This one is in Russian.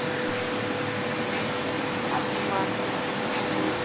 аджман